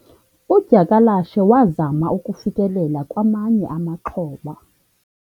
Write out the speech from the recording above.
udyakalashe wazama ukufikelela kwamanye amaxhoba